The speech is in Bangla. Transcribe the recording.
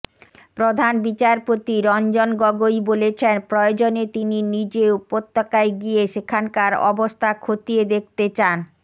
প্রধান বিচারপতি রঞ্জন গগৈ বলেছেন প্রয়োজনে তিনি নিজে উপত্যকায় গিয়ে সেখানকার অবস্থা খতিয়ে দেখতে চান